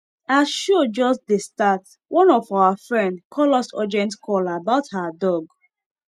as show just dey start one of our friend call us urgent call about her dog